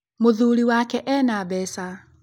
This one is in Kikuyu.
Mũthuri wake ena mbeca.